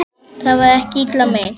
Það var ekki illa meint.